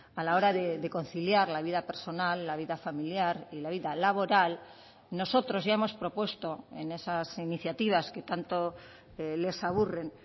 a la hora de conciliar la vida personal la vida familiar y la vida laboral nosotros ya hemos propuesto en esas iniciativas que tanto les aburren